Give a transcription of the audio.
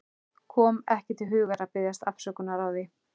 Kom ekki til hugar að biðjast afsökunar á því.